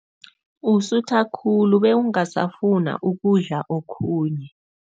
Usutha khulu bewungasafuna ukudla okhunye.